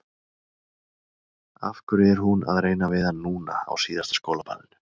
Af hverju er hún að reyna við hann núna, á síðasta skólaballinu?